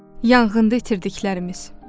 Yanğında itirdiklərimiz.